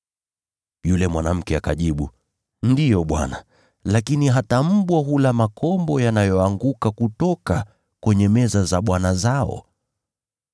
Yule mwanamke akajibu, “Ndiyo, Bwana, lakini hata mbwa hula makombo yanayoanguka kutoka kwenye meza za bwana zao.”